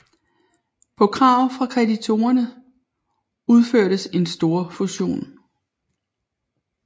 På krav fra kreditorerne udførtes en storfusion